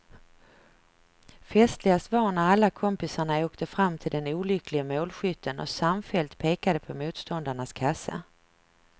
Festligast var när alla kompisarna åkte fram till den olycklige målskytten och samfällt pekade på motståndarnas kasse.